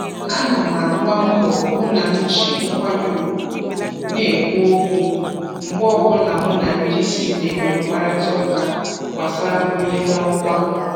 Ana m agba mbọ hụ m ji nkwanye ugwu na-ekwu okwu mgbe ọbụla mụ na ndị isi na-enwe mkparịta ụka gbasara mbuli n'ọkwa